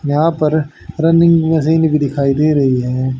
यहां पर running machine भी दिखाई दे रही है।